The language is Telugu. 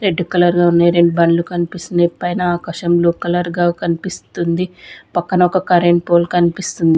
రెడ్ కలర్ గా ఉన్నాయి రెండు బండ్లు కనిపిస్తున్నాయి పైన ఆకాశం బ్లూ కలర్ గా కనిపిస్తుంది పక్కన ఒక కరెంట్ పోల్ కనిపిస్తుంది.